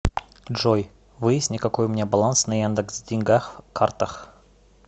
джой выясни какой у меня баланс на яндекс деньгах картах